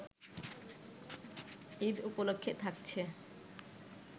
ঈদ উপলক্ষে থাকছে